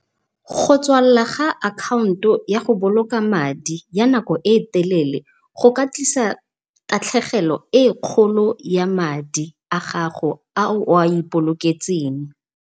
Go tswalla ga akhaonto ya go boloka madi ya nako e telele, go ka tlisa tatlhegelo e kgolo ya madi a gago a o a ipoloketseng.